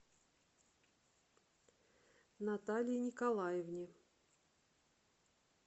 наталье николаевне